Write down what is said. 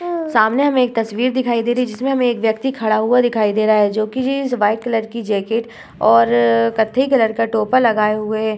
सामने हमें एक तस्वीर दिखाई दे रही है जिसमें हमें एक व्यक्ति खड़ा हुआ दिखाई दे रहा है जोकि जीन्स व्हाइट कलर की जैकेट और कत्थई कलर का टोपा लगाए हुए है।